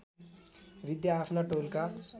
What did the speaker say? विद्या आफ्ना टोलका